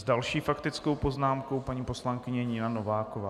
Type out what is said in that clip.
S další faktickou poznámkou paní poslankyně Nina Nováková.